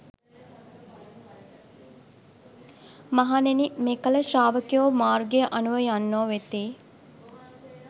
මහණෙනි, මෙකල ශ්‍රාවකයෝ මාර්ගය අනුව යන්නෝ වෙති.